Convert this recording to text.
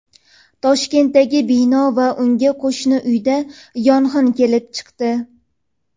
Toshkentdagi bino va unga qo‘shni uyda yong‘in kelib chiqdi.